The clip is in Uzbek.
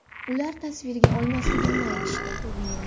Ular tasvirga olmasligimni aytishdi.